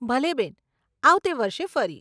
ભલે બેન, આવતે વર્ષે ફરી.